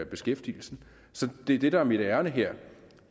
beskæftigelsen så det er det der er mit ærinde her